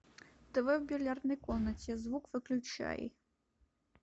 тв в бильярдной комнате звук выключай